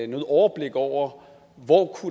noget overblik over hvor